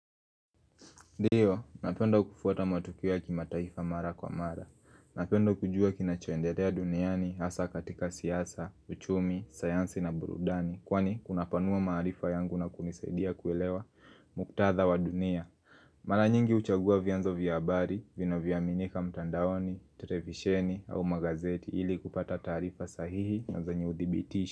Ndiyo, napenda kufuata matukio ya kimataifa mara kwa mara. Napenda kujua kinachoenderea duniani, hasa katika siasa, uchumi, sayansi na burudani. Kwani, kunapanua maarifa yangu na kunisaidia kuelewa muktadha wa dunia. Mara nyingi huchagua vianzo vya habari, vinavyoaminika mtandaoni, terevisheni au magazeti ili kupata taarifa sahihi na zenye udibitisho.